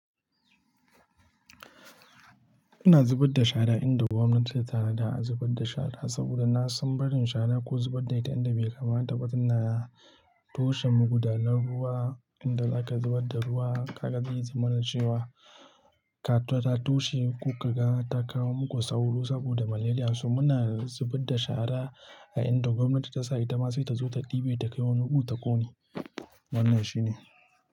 Ina zubar da shara a inda gwamnati ta yarda a zubar da shara, saboda na san barin shara ko zubar da ita a inda bai kamata ba tana toshe magudanar ruwa. Inda aka zubar da ruwa, haka zai zama na cewa ta tashi ko ta kawo muku sauro saboda malaria. Su muna zubar da shara a inda gwamnati ta sa, ita ma sai ta zo ta ɗibe ta kai wani wuku ta ƙone. Wannan shi ne.